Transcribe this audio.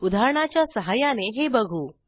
उदाहरणाच्या सहाय्याने हे बघू